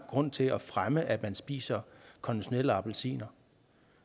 grund til at fremme at man spiser konventionelle appelsiner